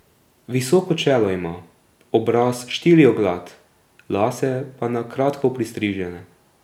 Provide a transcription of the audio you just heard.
Visoko čelo ima, obraz štirioglat, lase pa na kratko pristrižene.